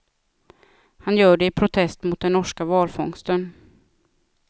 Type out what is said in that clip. Han gör det i protest mot den norska valfångsten.